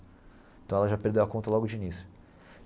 Então ela já perdeu a conta logo de início.